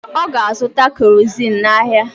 Ọ ga-azụta kerozin n’ahịa.